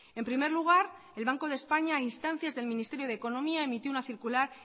en primer lugar el banco de españa a instancias del ministerio de economía emitió una circular